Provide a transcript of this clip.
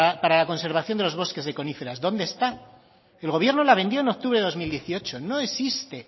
para la conservación de los bosques de coníferas dónde está el gobierno la vendió en octubre del dos mil dieciocho no existe